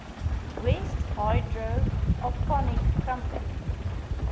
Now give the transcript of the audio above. west hydroponics company